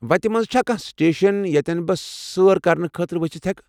وتہِ منزٕ چھا كانٛہہ سٹیشن ییٚتٮ۪ن بہٕ سٲر کرنہٕ خٲطرٕ ؤسِتھ ہٮ۪کہٕ؟